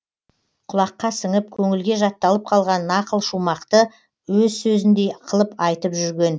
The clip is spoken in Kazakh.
кұлаққа сіңіп көңілге жатталып калған нақыл шумақты өз сөзіндей қылып айтып жүрген